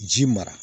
Ji mara